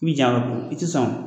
N bi jan ko i ti sɔn